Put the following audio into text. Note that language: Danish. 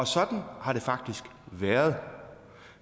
sådan har det faktisk været